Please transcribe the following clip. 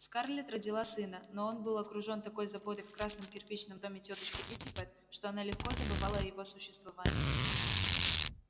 скарлетт родила сына но он был окружён такой заботой в красном кирпичном доме тётушки питтипэт что она легко забывала о его существовании